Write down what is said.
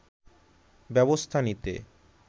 ব্যবস্থা নিতে